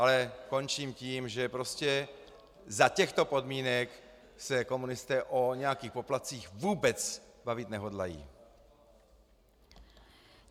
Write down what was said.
Ale končím tím, že prostě za těchto podmínek se komunisté o nějakých poplatcích vůbec bavit nehodlají.